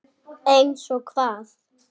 Eins og hvað?